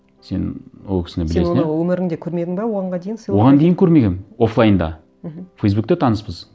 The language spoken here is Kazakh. сен ол кісіні білесің иә сен оны өміріңде көрмедің бе дейін оған дейін көрмегенмін офлайнда мхм фейсбукте таныспыз